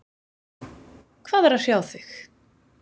Hvað er að hrjá þig?